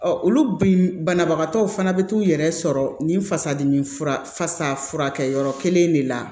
olu banabagatɔw fana bɛ t'u yɛrɛ sɔrɔ nin fasa dimi fura fasa furakɛyɔrɔ kelen de la